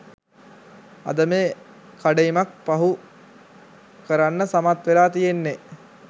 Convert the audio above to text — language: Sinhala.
අද මේ කඩඉමක් පහු කරන්න සමත් වෙලා තියෙන්නේ.